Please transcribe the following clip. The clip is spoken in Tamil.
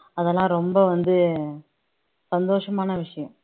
அதெல்லாம் ரொம்ப வந்து சந்தோஷமான விஷயம்